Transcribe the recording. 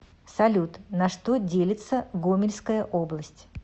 салют на что делится гомельская область